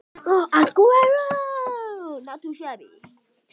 Erla Hlynsdóttir: Ætlarðu að sprengja mikið?